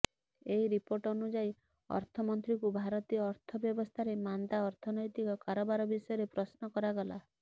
ଏକ ରିପୋର୍ଟ ଅନୁଯାୟୀ ଅର୍ଥମନ୍ତ୍ରୀଙ୍କୁ ଭାରତୀୟ ଅର୍ଥବ୍ୟବସ୍ଥାରେ ମାନ୍ଦା ଅର୍ଥନୈତିକ କାରବାର ବିଷୟରେ ପ୍ରଶ୍ନ କରାଗଲା